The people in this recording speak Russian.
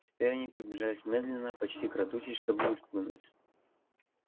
теперь они приближались медленно почти крадучись чтобы не спугнуть